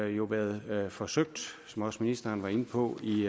jo været forsøgt som også ministeren var inde på i